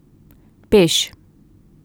Peš.